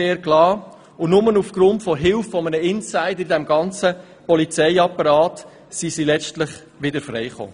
Nur dank der Hilfe von Insidern innerhalb des Polizeiapparats kam die Gruppe letztlich wieder frei.